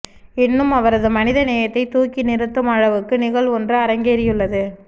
இன்னும் அவரது மனிதநேயத்தை தூக்கி நிறுத்தும் அளவுக்கு நிகழ்வு ஒன்று அரங்கேறியுள்ளது